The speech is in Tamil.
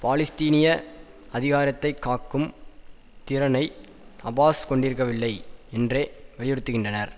பாலஸ்தீனிய அதிகாரத்தை காக்கும் திறனை அபாஸ் கொண்டிருக்கவில்லை என்றே வலியுறுத்திகின்றனர்